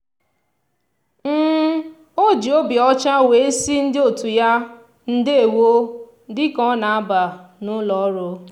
o ji obi ọcha wee sị ndị otu ya "ndewo" dị ka ọ na-aba n'ụlọ ọrụ.